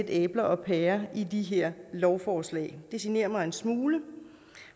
æbler og pærer i de her lovforslag det generer mig en smule